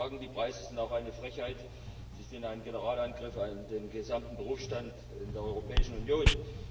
Man kann auch sagen Die Preise sind auch eine Frechheit, sie sind ein Generalangriff auf den gesamten Berufsstand in der Europäischen Union.